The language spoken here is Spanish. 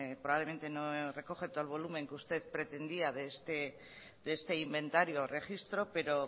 probablemente no recoge todo el volumen que usted pretendía de este inventario o registro pero